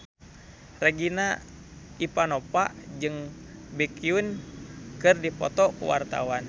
Regina Ivanova jeung Baekhyun keur dipoto ku wartawan